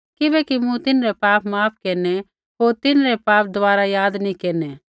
किबैकि मूँ तिन्हरै पाप माफ़ केरनै होर तिन्हरै पाप दबारा याद नी केरनै